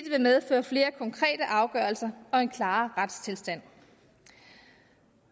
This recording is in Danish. medføre flere konkrete afgørelser og en klarere retstilstand